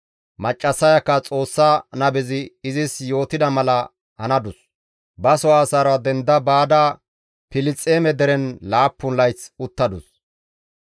Maccassayakka Xoossa nabezi izis yootida mala hanadus; ba soo asaara denda baada Filisxeeme deren laappun layth uttadus.